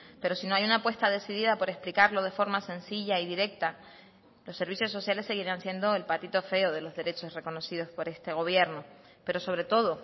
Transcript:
pero si no hay una apuesta decidida por explicarlo de forma sencilla y directa los servicios sociales seguirán siendo el patito feo de los derechos reconocidos por este gobierno pero sobre todo